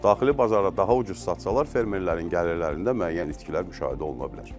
Daxili bazarda daha ucuz satsalar fermerlərin gəlirlərində müəyyən itkilər müşahidə oluna bilər.